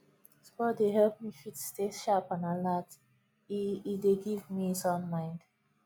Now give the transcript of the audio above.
sport dey help me fit stay sharp and alert e e dey give me sound mind